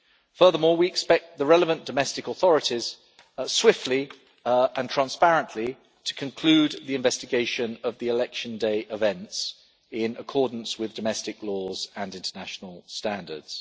Furthermore, we expect the relevant domestic authorities swiftly and transparently to conclude the investigation of the election day events, in accordance with domestic laws and international standards.